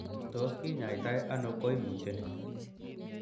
Tos kinyaita ono koimutioni?